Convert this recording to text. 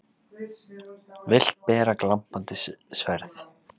Vilt bera glampandi sverð.